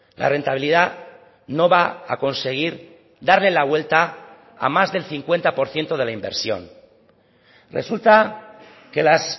la rentabilidad no va a conseguir darle la vuelta a más del cincuenta por ciento de la inversión resulta que las